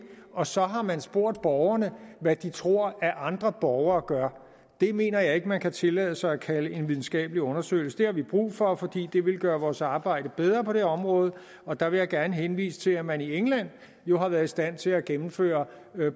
og så har man spurgt borgerne hvad de tror at andre borgere gør det mener jeg ikke man kan tillade sig at kalde en videnskabelig undersøgelse det har vi brug for fordi det ville gøre vores arbejde bedre på det område og der vil jeg gerne henvise til at man i england jo har været i stand til at gennemføre